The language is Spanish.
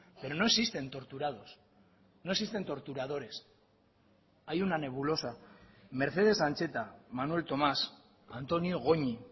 pero no existen torturados no existen torturadores hay una nebulosa mercedes ancheta manuel tomás antonio goñi